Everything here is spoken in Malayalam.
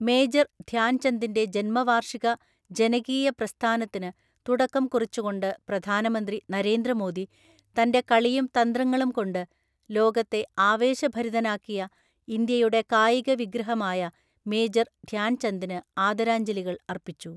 മേജര്‍ ധ്യാന്ചന്ദിന്‍റെ ജന്മവാർഷിക ജനകീയ പ്രസ്ഥാനത്തിന് തുടക്കം കുറിച്ചുകൊണ്ട് പ്രധാനമന്ത്രി നരേന്ദ്രമോദി, തൻ്റെ കളിയും തന്ത്രങ്ങളും കൊണ്ട് ലോകത്തെ ആവേശഭരിതനാക്കിയ ഇന്ത്യയുടെ കായിക വിഗ്രഹമായ മേജര്‍ ധ്യാന്ചന്ദിന് ആദരാജ്ഞലികള്‍ അർപ്പിച്ചു.